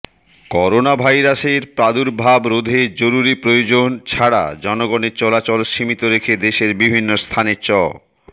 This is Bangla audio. করোনাভাইরাসের প্রাদুর্ভাব রোধে জরুরি প্রয়োজন ছাড়া জনগণের চলাচল সীমিত রেখে দেশের বিভিন্ন স্থানে চ